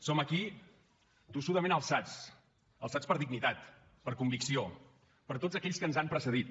som aquí tossudament alçats alçats per dignitat per convicció per tots aquells que ens han precedit